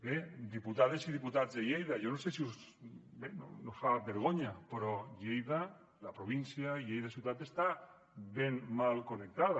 bé diputades i diputats de lleida jo no sé si no us fa vergonya però lleida la província lleida ciutat està ben mal connectada